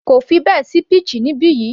Kò fi bẹ́ẹ̀ sí peach níbi yìí